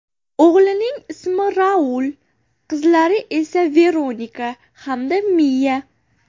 O‘g‘lining ismi Raul, qizlari esa Veronika hamda Miya.